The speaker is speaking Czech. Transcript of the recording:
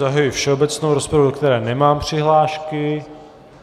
Zahajuji všeobecnou rozpravu, do které nemám přihlášky.